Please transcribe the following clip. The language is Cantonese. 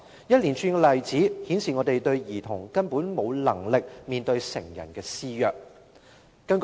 一連串的例子顯示兒童根本無能力面對成人施虐。